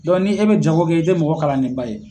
ni e bɛ jagokɛ i tɛ mɔgɔ kalanni ba ye.